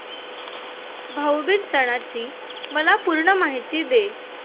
भाऊ बीज सणाची मला पूर्ण माहिती दे